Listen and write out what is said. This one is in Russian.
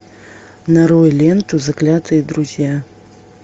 нарой ленту заклятые друзья